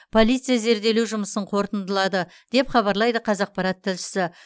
полиция зерделеу жұмысын қорытындылады деп хабарлайды қазақпарат тілшісі